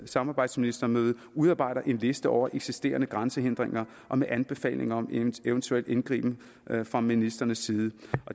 samarbejdsministermøde udarbejder en liste over eksisterende grænsehindringer og med anbefalinger om en eventuel indgriben fra ministrenes side